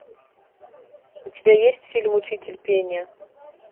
у тебя есть фильм учитель пения